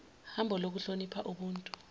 hambo lokuhlonipha ubuntu